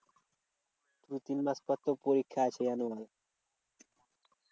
দু তিন মাস পর তো পরীক্ষা আছে জানো?